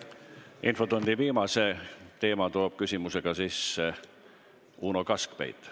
Infotunni viimase teema toob oma küsimusega sisse Uno Kaskpeit.